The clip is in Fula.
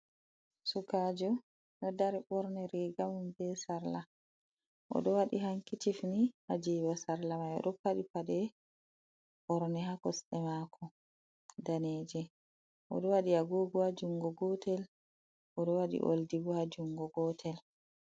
Sukajo doddari borne rigamum be sarla ,odo wadi hankicifni hajiba sarla mai odo padi pade borne ha kosde mako daneje odo wadi agog jungo gotel odo wadi oldi bo ha jungo gotel.